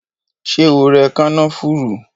Ṣé o rẹ kànáfùrú?